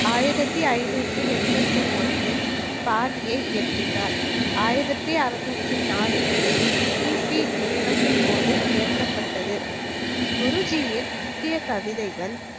ஆயிரத்தி ஐநூத்தி எண்பத்தி ஒண்ணில் பாணியை இயற்றினார். ஆயிரத்தி அறுநூற்று நாலு முதல் கிபி நேரம் போது ஏற்றபட்டது. குருஜியின் முக்கிய கவிதைகள்